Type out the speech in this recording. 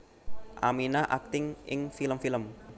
Aminah akting ing film film